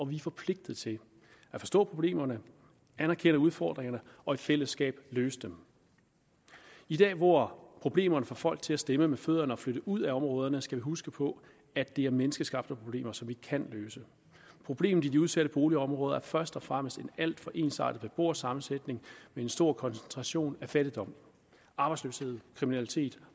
vi er forpligtet til at forstå problemerne anerkende udfordringerne og i fællesskab løfte dem i dag hvor problemerne får folk til at stemme med fødderne og flytte ud af områderne skal vi huske på at det er menneskeskabte problemer som vi kan løse problemet i de udsatte boligområder er først og fremmest en alt for ensartet beboersammensætning med en stor koncentration af fattigdom arbejdsløshed kriminalitet